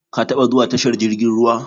Ka taba zuwa tashar jirgin ruwa?